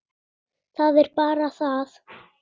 Það er bara það!